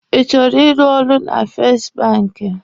Ị chọrọ ịrụ ọrụ na fest banki?